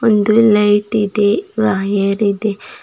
ಒಂದು ಲೈಟ್ ಇದೆ ವಾಯರ್ ಇದೆ.